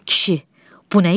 Kişi, bu nə işdir?